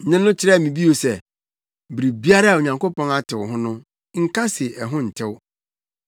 “Nne no ka kyerɛɛ me bio se, ‘Biribiara a Onyankopɔn atew ho no, nka se ɛho ntew.’